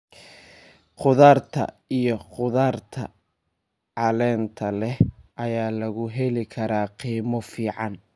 Khudaarta iyo khudaarta caleenta leh ayaa lagu heli karaa qiimo fiican.